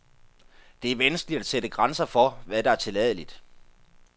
Det er vanskeligt at sætte grænser for, hvad der er tilladeligt.